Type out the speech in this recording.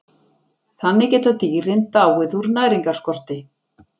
Þannig geta dýrin dáið úr næringarskorti.